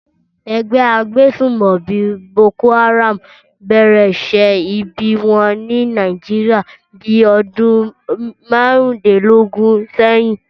Ẹgbẹ́ agbésùmọ̀bí Boko Haram bẹ̀rẹ̀ iṣẹ́ ibi wọn ní Nàìjíríàni bí ọdún márùndínlógún sẹ́yìn